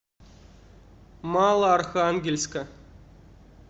малоархангельска